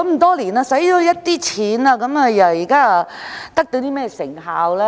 多年來花費了一大筆錢，但得到甚麼成效呢？